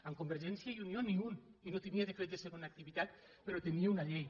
amb convergència i unió ni un i no tenia decret de segona activitat però tenia una llei